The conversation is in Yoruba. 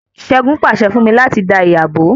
Ṣẹgun pàṣẹ fún mí láti dá ìyá bó